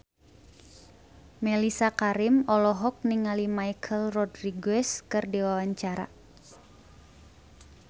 Mellisa Karim olohok ningali Michelle Rodriguez keur diwawancara